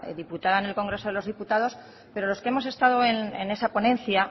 diputada en el congreso de los diputados pero los que hemos estados en esa ponencia